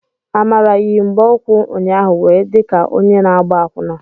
Amara yi mgbaukwu ụnyaahụ wee di ka onye na-agba akwụna.